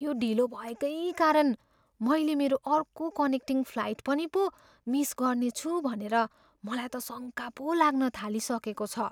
यो ढिलो भएकै कारण मैले मेरो अर्को कनेक्टिङ फ्लाइट पनि पो मिस गर्नेछु भनेर मलाई त शङ्का पो लाग्न थालिसकेको छ।